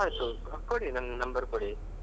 ಆಯ್ತು ಕೊಡಿ ನನ್ನ್ number ಕೊಡಿ.